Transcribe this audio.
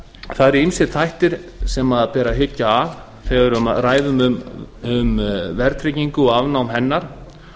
eru ýmsir þættir sem ber að hyggja að þegar við ræðum um verðtryggingu og afnám hennar